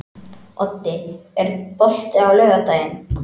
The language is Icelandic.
Oddi, er bolti á laugardaginn?